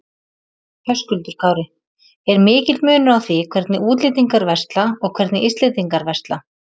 Höskuldur Kári: Er mikill munur á því hvernig útlendingar versla og hvernig Íslendingar versla?